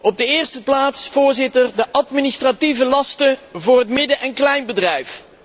Op de eerste plaats, Voorzitter, de administratieve lasten voor het midden en kleinbedrijf.